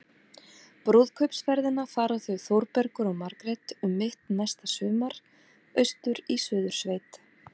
Brúðkaupsferðina fara þau Þórbergur og Margrét um mitt næsta sumar- austur í Suðursveit.